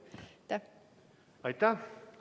Aitäh!